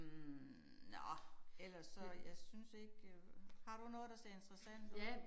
Hm nåh ellers så jeg synes ikke øh har du noget der ser interessant ud?